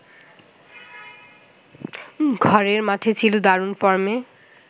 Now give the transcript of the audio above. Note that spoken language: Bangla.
ঘরের মাঠে ছিল দারুণ ফর্মে